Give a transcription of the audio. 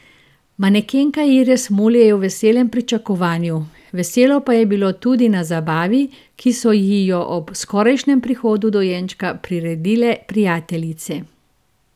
Manekenka Iris Mulej je v veselem pričakovanju, veselo pa je bilo tudi na zabavi, ki so ji jo ob skorajšnjem prihodu dojenčka priredile prijateljice.